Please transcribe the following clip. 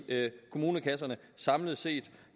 kommunekasserne samlet set